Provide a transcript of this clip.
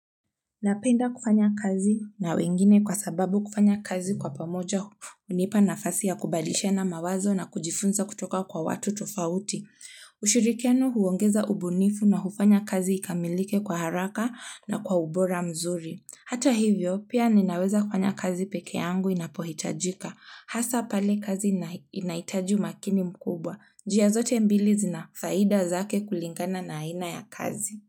Napenda kufanya kazi na wengine kwa sababu kufanya kazi kwa pamoja hunipa nafasi ya kubadilishana mawazo na kujifunza kutoka kwa watu tofauti. Ushirikiano huongeza ubunifu na hufanya kazi ikamilike kwa haraka na kwa ubora mzuri. Hata hivyo, pia ninaweza kufanya kazi peke yangu inapohitajika. Hasa pale kazi inahitaji umakini mkubwa. Njia zote mbili zina faida zake kulingana na aina ya kazi.